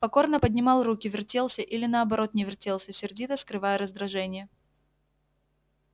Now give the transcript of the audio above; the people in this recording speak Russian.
покорно поднимал руки вертелся или наоборот не вертелся сердито скрывая раздражение